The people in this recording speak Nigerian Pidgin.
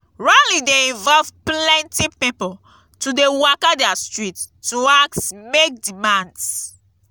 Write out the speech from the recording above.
rally de involve pilenty pipo to de waka their street to ask make demands